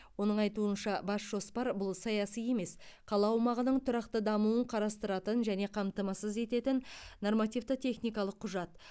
оның айтуынша бас жоспар бұл саяси емес қала аумағының тұрақты дамуын қарастыратын және қамтамасыз ететін нормативті техникалық құжат